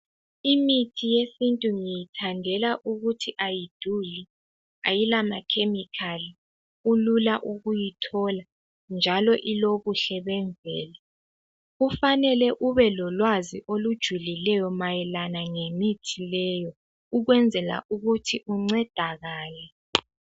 Imithi yesintu ngiyithandela ukuthi ayiduli. Ayilamakhemikhali, kulula ukuyithola, njalo ilobuhle bemvelo. Kufanele ukuthi ube lolwazi olujulileyo mayelana ngemithi leyo, ukwenzela ukuthi uncedakale.